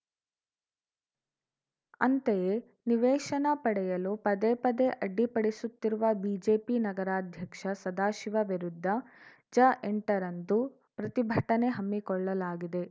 ಅಂತೆಯೆ ನಿವೇಶನ ಪಡೆಯಲು ಪದೇ ಪದೇ ಅಡ್ಡಿಪಡಿಸುತ್ತಿರುವ ಬಿಜೆಪಿ ನಗರಾಧ್ಯಕ್ಷ ಸದಾಶಿವ ವಿರುದ್ಧ ಜಎಂಟ ರಂದು ಪ್ರತಿಭಟನೆ ಹಮ್ಮಿಕೊಳ್ಳಲಾಗಿದೆ